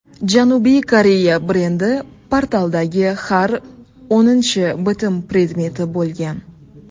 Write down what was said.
Janubiy Koreya brendi portaldagi har o‘ninchi bitim predmeti bo‘lgan.